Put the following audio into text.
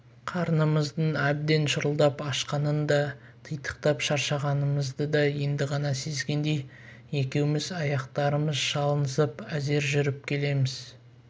қарнымыздың әбден шұрылдап ашқанын да титықтап шаршағанымызды да енді ғана сезгендей екеуміз аяқтарымыз шалынысып әзер жүріп келеміз